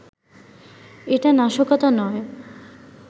এটা নাশকতা নয়